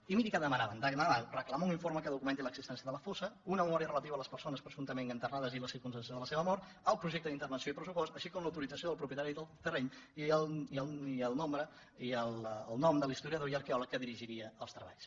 i miri què demanaven demanaven reclamar un informe que documenti l’existència de la fossa una memòria relativa a les persones presumptament enterrades i la circumstància de la seva mort el projecte d’intervenció i pressupost així com l’autorització del propietari del terreny i el nom de l’historiador i arqueòleg que dirigiria els treballs